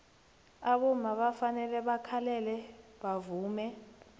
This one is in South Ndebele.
abomma bafanele bakhalele bavume